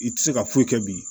I tɛ se ka foyi kɛ bi